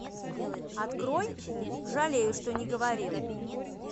открой жалею что не говорил